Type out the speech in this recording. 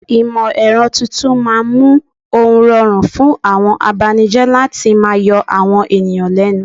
Ìmọ̀ ẹ̀rọ tuntun máa mú ún rọrùn fún àwọn abanijẹ́ láti máa yọ àwọn ènìyàn lẹ́nu.